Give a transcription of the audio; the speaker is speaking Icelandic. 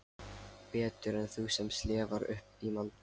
Betur en þú sem slefar upp í mann.